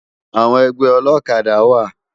Awòn ègbè òlòkàdá wá